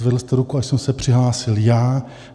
Zvedl jste ruku, až jsem se přihlásil já.